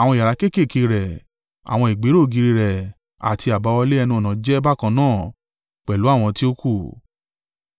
Àwọn yàrá kéékèèké rẹ̀, àwọn ìgbéró ògiri rẹ̀ àti àbáwọlé ẹnu-ọ̀nà jẹ́ bákan náà pẹ̀lú àwọn tí ó kù.